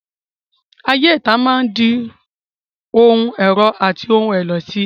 Ayé ìta máa di ohun ẹ̀rọ̀ àti ohun ẹ̀lẹ̀ síi.